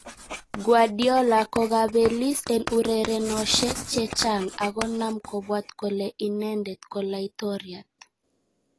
Guardiola kokabeliis en urerenoshek chechang ak konaam kobwaat kolee inendet ko laitoriaat"